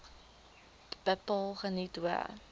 bepaal geniet hoë